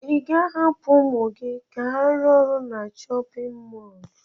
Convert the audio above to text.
Ị ga-ahapụ ụmụ gị ka ha rụọ ọrụ na chọpịn mọọlụ?